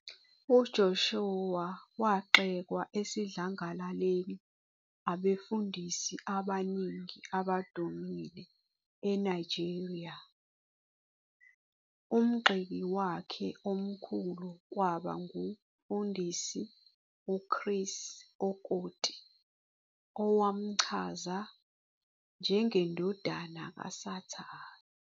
UJoshua wagxekwa esidlangalaleni abefundisi abaningi abadumile eNigeria, umgxeki wakhe omkhulu kwaba nguMfundisi uChris Okotie owamchaza 'njengendodana kasathane'.